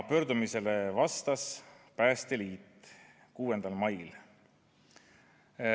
Pöördumisele vastas Päästeliit 6. mail.